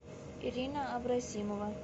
ирина абросимова